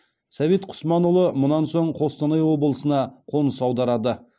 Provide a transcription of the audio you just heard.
совет құсманұлы мұнан соң қостанай облысына қоныс аударады